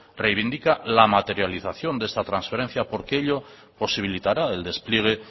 reivindica la materialización de esta transferencia porque ello posibilitará el despliegue